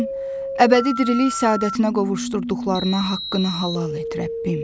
Sən əbədi dirilik səadətinə qovuşdurduqlarına haqqını halal et Rəbbim.